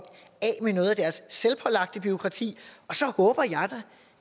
af med noget af deres selvpålagte bureaukrati så håber jeg